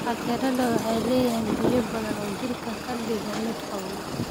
Qajaarada waxay leeyihiin biyo badan oo jidhka ka dhiga mid qabow.